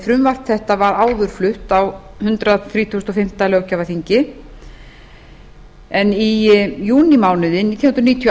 frumvarp þetta var áður flutt á hundrað þrítugasta og fimmta löggjafarþingi en í júnímánuði nítján hundruð níutíu og